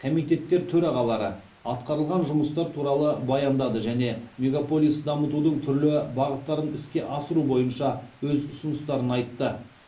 комитеттер төрағалары атқарылған жұмыстар туралы баяндады және мегаполис дамытудың түрлі бағыттарын іске асыру бойынша өз ұсыныстарын айтты